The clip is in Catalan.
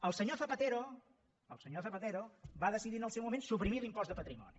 el senyor zapatero el senyor zapatero va decidir en el seu moment suprimir l’impost de patrimoni